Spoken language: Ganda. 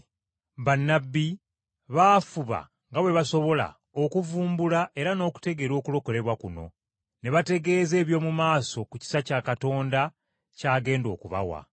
Bannabbi baafuba nga bwe baasobola okuvumbula era n’okutegeera okulokolebwa kuno, ne bategeeza eby’omu maaso ku kisa kya Katonda ky’agenda okubawa.